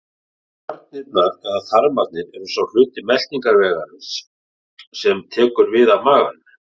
Garnirnar eða þarmarnir eru sá hluti meltingarvegarins sem tekur við af maganum.